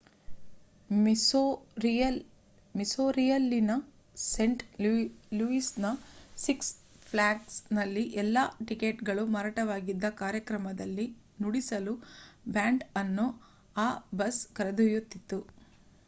ಮಿಸ್ಸೋರಿಯಲ್ಲಿನ saint ಲೂಯಿಸ್‌ನ six ಫ್ಲ್ಯಾಗ್ಸ್‌ನಲ್ಲಿ ಎಲ್ಲಾ ಟಿಕೇಟ್‍‍‍‍‍‍ಗಳು ಮಾರಾಟವಾಗಿದ್ದ ಕಾರ್ಯಕ್ರಮದಲ್ಲಿ ನುಡಿಸಲು ಬ್ಯಾಂಡ್ ಅನ್ನು ಆ ಬಸ್ ಕರೆದೊಯ್ಯುತಿತ್ತು